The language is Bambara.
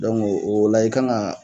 Dɔnko o la i kan ga